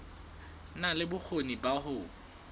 na le bokgoni ba ho